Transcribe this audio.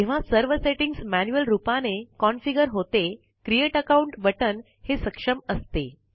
जेव्हा सर्व settings manual रूपाने कॉन्फ़िगर होते क्रिएट अकाउंट बटन हे सक्षम असते